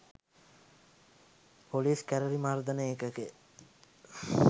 police කැරළි මර්දන ඒකකය